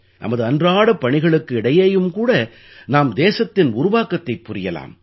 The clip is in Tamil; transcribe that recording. நமது அன்றாடப் பணிகளுக்கு இடையேயும் கூட நாம் தேசத்தின் உருவாக்கத்தைப் புரியலாம்